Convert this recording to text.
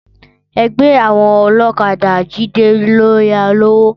Ẹgbẹ́ àwọn ọlọ́kadà Jídé ló yá a lówó.